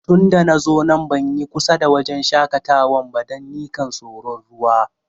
Tun da na zo nan ban yi kusa da wajen shakatawan ba, dan nikan soro'n ruwa.